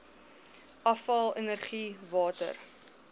afval energie water